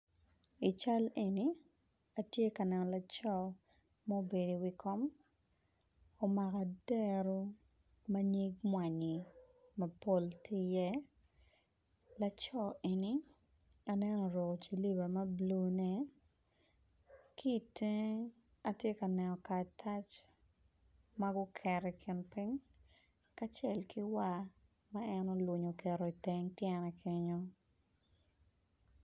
I cal eni atye ka neno laco ma obedo i wi kom omako odero ma nyig mwanyi mapol tye i ye laco eni aneno oruko silipa mablue ne kitenge atye kaneno karatac maguketo i kin ping nhat acel ki war ma en olunyo oketo iteng tyene kenyo.